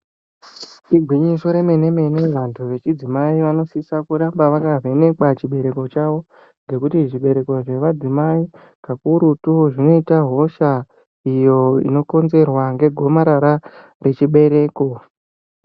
Igwinyiso remene mene vantu vechidzimai vanoramba vakavhenekwa chibereko chaiwo ngekuti zvibereko zvemadzimai kakurutu zvinoita hosha iyo inodetserwa negomarara rechibereko.